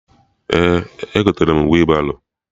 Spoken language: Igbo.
Ee, egotere m wị baro